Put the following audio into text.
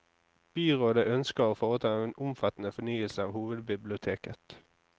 Byrådet ønsker å foreta en omfattende fornyelse av hovedbiblioteket.